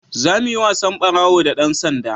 za mu yi wasan ɓarawo da dan sanda